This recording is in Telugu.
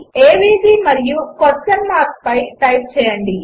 ఏవీజీ మరియు క్వెస్చన్ మార్క్ టైప్ చేయండి